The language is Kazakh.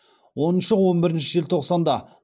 оныншы он бірінші желтоқсанда